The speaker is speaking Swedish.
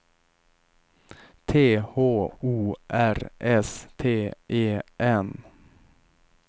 T H O R S T E N